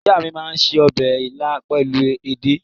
Ìyá mi máa ń se ọbẹ̀ ilá pẹ̀lú edé.